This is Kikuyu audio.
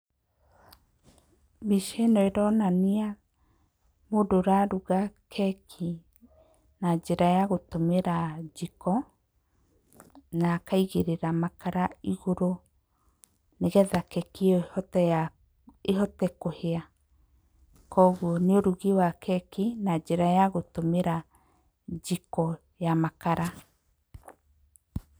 Mbica ĩno ĩronania mũndũ ũraruga keki na njĩra ya gũtũmĩra njiko, na akaigĩrĩra makara igũrũ nĩgetha keki ĩyo ĩhote kũhĩa. Koguo nĩ ũrugi wa keki na njĩra ya gũtũmĩra njiko ya makara.